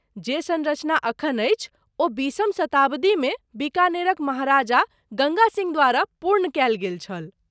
जे सँरचना अखन अछि ओ बीसम शताब्दीमे बीकानेरक महाराजा गङ्गा सिँह द्वारा पूर्ण कयल गेल छल।